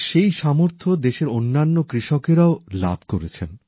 আজ সেই সামর্থ্য দেশের অন্যান্য কৃষকেরাও লাভ করেছেন